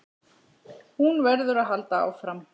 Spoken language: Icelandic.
Hún verður að halda áfram.